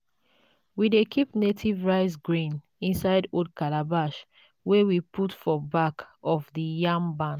we dey keep native rice grain inside old calabash wey we put for back of the yam barn.